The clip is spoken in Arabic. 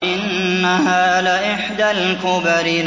إِنَّهَا لَإِحْدَى الْكُبَرِ